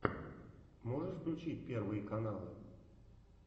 можешь включить первые каналы